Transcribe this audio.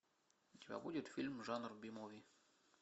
у тебя будет фильм жанра би муви